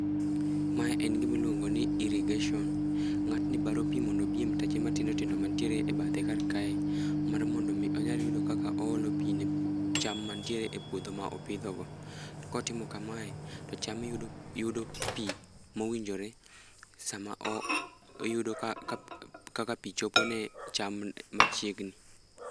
Mae en gima iluongoni irrigation. Ngátni baro pii mondo obi e mtache matindo tindo mantiere e bathe kar kae, mar mondo omi onyal yudo kaka oolo pii ne cham mantiere e puodho ma opidhogo. To kotimo kamae, to cham yudo yudo pii mowinjore, sama oyudo, kaka pi chopone cham machiegni.